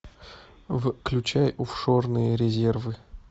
включай офшорные резервы